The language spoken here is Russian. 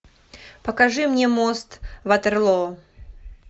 покажи мне мост ватерлоо